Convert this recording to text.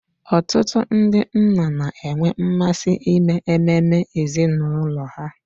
Ọtụtụ ndị nna na-enwe mmasị ime ememe ezinụlọ ha.